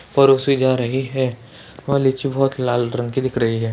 परोसे जा रही है वह लीची बहोत लाल रंग की दिख रही है।